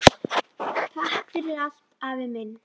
Takk fyrir allt, afi minn.